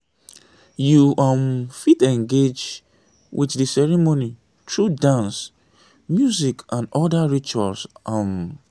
you um fit engage with the ceremony through dance music and oda rituals um